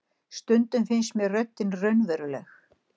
Stundum finnst mér röddin raunveruleg.